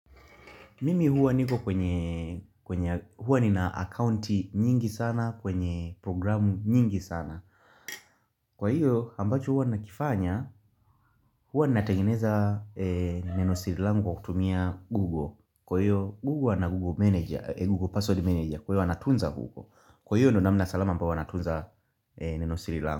Mimi huwa niko kwenye huwa nina akaunti nyingi sana kwenye programu nyingi sana Kwa hiyo ambacho huwa nakifanya huwa natengeneza neno sirilangu kwa kutumia google Kwa hiyo google na google manager, google password manager kwa hiyo huwa natunza google Kwa hiyo ndio namna salama ambao huwa natunza neno sirilangu.